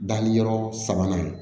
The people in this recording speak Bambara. Danni yɔrɔ sabanan